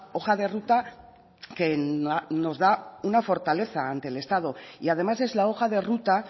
hoja de ruta que nos da una fortaleza ante el estado y además es la hoja de ruta